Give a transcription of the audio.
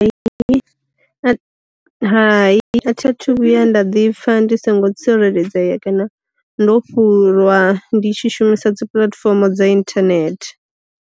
Hai a thi a thu vhuya nda ḓi pfa ndi songo tsireledzea kana ndo fhurwa ndi tshi shumisa dzi puḽatifomo dza inthanethe.